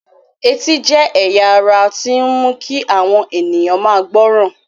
Etí jẹ́ ẹ̀ya ara tó ń mu kí àwọn ènìyàn máa gbọ́ràn.